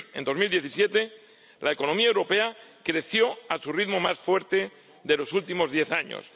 En 2017 la economía europea creció a su ritmo más fuerte de los últimos diez años.